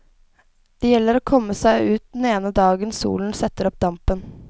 Det gjelder å komme seg ut den ene dagen solen setter opp dampen.